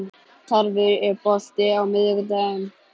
Tarfur, er bolti á miðvikudaginn?